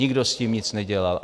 Nikdo s tím nic nedělal.